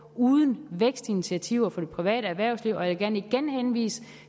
uden vækstinitiativer for det private erhvervsliv og jeg vil gerne igen henvise